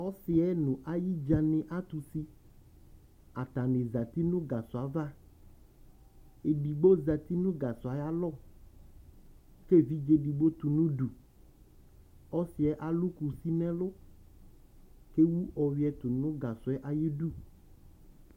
Ɔsɩ yɛ nʋ ayɩdzǝ nɩ atʋ usi Atanɩ zǝtɩ nʋ gasɔ ava Edigbo zǝtɩ nʋ gasɔ yɛ ayʋ alɔ, kʋ evidze edigbo tʋ nʋ udu Ɔsɩ yɛ alʋ kusi nʋ ɛlʋ, kʋ ewu ɔyɔɛ tʋ nʋ gasɔ yɛ ayʋ idu